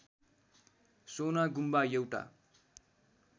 सोना गुम्बा एउटा